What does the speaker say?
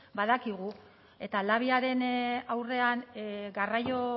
badakigu eta labiaren aurrean garraio